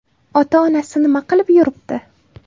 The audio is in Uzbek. Ota-onasi nima qilib yuribdi?